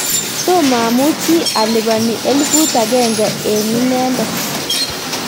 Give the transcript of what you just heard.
tomo amuchi alipani elfut agenge eng inende